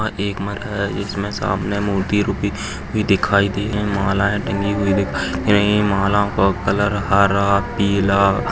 एक मंदिर जिसमे सामने मूर्ति रूपित दिखाई दे रही है मालाए टंगी हुई दिखाई दे रही है माला ओ का कलर हारा पीला--